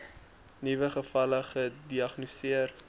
nuwe gevalle gediagnoseer